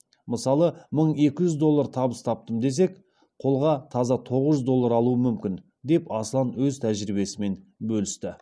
мысалы мың екі жүз доллар табыс таптым десек қолға таза тоғыз жүз доллар алуым мүмкін деп аслан өз тәжірибесімен бөлісті